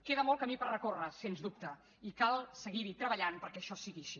queda molt camí per recórrer sens dubte i cal seguir hi treballant perquè això sigui així